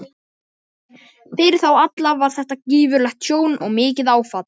Fyrir þá alla var þetta gífurlegt tjón og mikið áfall.